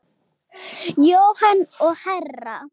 Jóhanna og Hera.